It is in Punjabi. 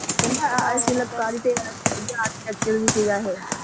ਦੂਜਾ ਆਰਚੀਟੈਕਚਰ ਵਿ ਸੀ ਗਾ